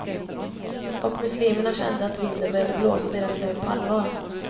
Och muslimerna kände att vinden började blåsa deras väg på allvar.